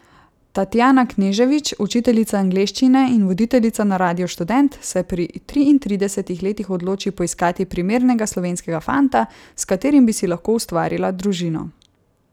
Tatjana Knežević, učiteljica angleščine in voditeljica na radiu Študent, se pri triintridesetih letih odloči poiskati primernega slovenskega fanta, s katerim bi si lahko ustvarila družino.